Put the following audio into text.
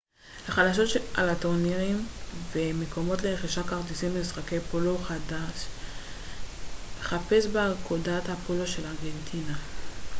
לחדשות על טורנירים ומקומות לרכישת כרטיסים למשחקי פולו חפש באגודת הפולו של ארגנטינה